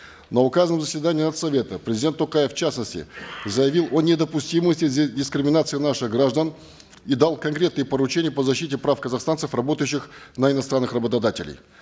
на указанном заседании нац совета президент токаев в частности заявил о недопустимости здесь дискриминации наших граждан и дал конкретные поручения по защите прав казахстанцев работающих на иностранных работодателей